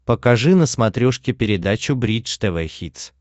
покажи на смотрешке передачу бридж тв хитс